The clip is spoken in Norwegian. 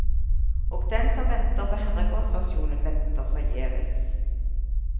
Og den som venter på herregårdsversjonen, venter forgjeves.